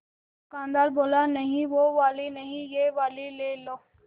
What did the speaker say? दुकानदार बोला नहीं वो वाली नहीं ये वाली ले लो